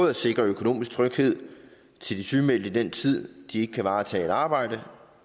at sikre økonomisk tryghed til de sygemeldte i den tid de ikke kan varetage et arbejde